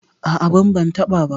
A'a, ban ban taɓa ba.